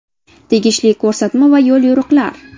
Tegishli ko‘rsatma va yo‘l-yo‘riqlar.